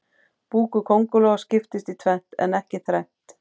Búkur kóngulóa skiptist í tvennt en ekki þrennt.